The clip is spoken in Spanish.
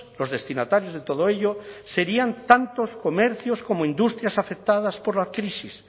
los destinatarios de todo ello serían tantos comercios como industrias afectadas por la crisis